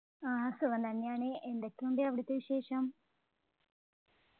ആഹ് സുഖം തന്നെയാണ് എന്തൊക്കെയുണ്ട് അവിടുത്തെ വിശേഷം